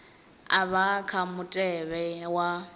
a vha kha mutevhe wa